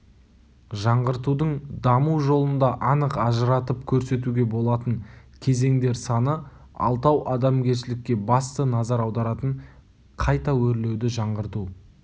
жаңғыртудың даму жолында анық ажыратып көрсетуге болатын кезеңдер саны алтау адамгершілікке басты назар аударатын қайта өрлеуді жаңғырту